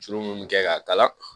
Juru minnu bɛ kɛ k'a kala